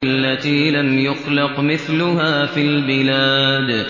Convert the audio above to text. الَّتِي لَمْ يُخْلَقْ مِثْلُهَا فِي الْبِلَادِ